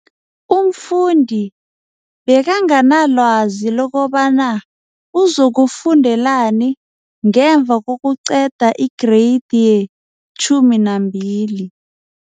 Umfundi bekanganalwazi lokobana uzokufundelani ngemva kokuqeda i-Greyidi ye-12.